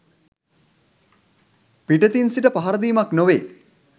පිටතින් සිට පහරදීමක් නොවේ